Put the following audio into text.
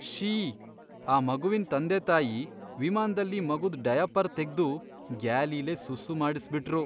ಶ್ಶೀ.. ಆ ಮಗುವಿನ್ ತಂದೆತಾಯಿ ವಿಮಾನ್ದಲ್ಲಿ ಮಗುದ್ ಡಯಾಪರ್ ತೆಗ್ದು ಗ್ಯಾಲಿಲೇ ಸುಸ್ಸೂ ಮಾಡ್ಸ್ಬಿಟ್ರು.